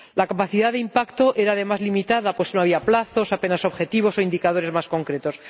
La capacidad de impacto era, además, limitada, pues no había plazos, apenas objetivos o indicadores más concretos.